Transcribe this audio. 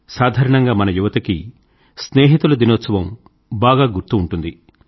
సాధారణంగా మన యువతకి స్నేహితుల దినోత్సవం బాగా గుర్తు ఉంటుంది